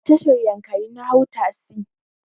A tashar yankari na hau tasi.